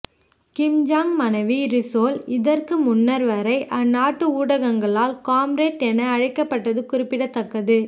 கிம் Jong மனைவி Ri Sol இதற்கு முன்னர் வரை அந்நாட்டு ஊடகங்களால் காம்ரேட் என அழைக்கப்பட்டது குறிப்பிடத்தக்கது